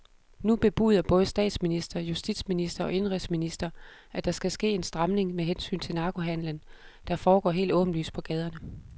Nu bebuder både statsminister, justitsminister og indenrigsminister, at der skal ske en stramning med hensyn til narkohandelen, der foregår helt åbenlyst på gaderne.